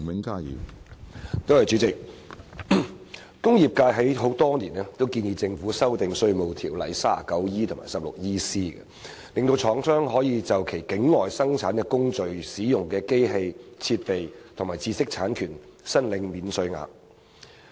工業界多年來建議政府修訂《稅務條例》第 39E 及 16EC 條，令廠商可就其境外生產工序中使用的機器、設備和知識產權申領免稅額。